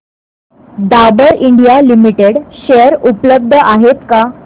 Dabur India limited share उपलब्ध आहेत का